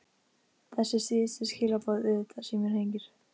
Þessi síðustu skilaboð auðvitað- Síminn hringir.